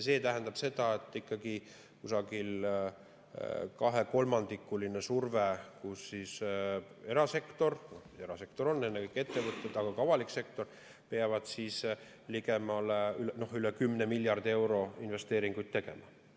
See tähendab seda, et on umbes 2/3‑line surve ning erasektor – erasektor on ennekõike ettevõtted –, aga ka avalik sektor peavad üle 10 miljardi euro investeeringuid tegema.